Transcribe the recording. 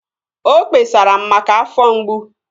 O kpesara m maka afọ mgbu